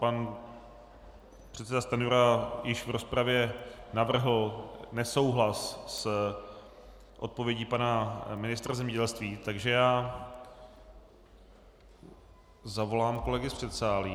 Pan předseda Stanjura již v rozpravě navrhl nesouhlas s odpovědí pana ministra zemědělství, takže já zavolám kolegy z předsálí.